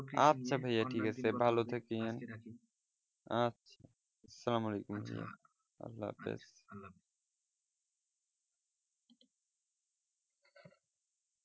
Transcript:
আচ্ছা সালামওয়ালেকুম আল্লাহ হাফিজ।